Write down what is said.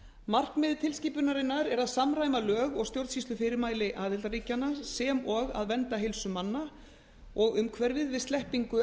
markmið tilskipunarinnar er að samræma lög og stjórnsýslufyrirmæli aðildarríkjanna sem og að vernda heilsu manna og umhverfið við sleppingu